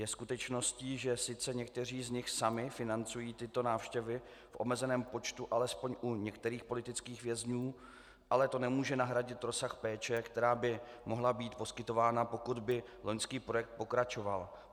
Je skutečností, že sice někteří z nich sami financují tyto návštěvy v omezeném počtu alespoň u některých politických vězňů, ale to nemůže nahradit rozsah péče, která by mohla být poskytována, pokud by loňský projekt pokračoval.